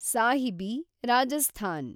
Sahibi, Rajasthan